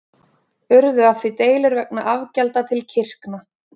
Urðu af því deilur vegna afgjalda til kirkna.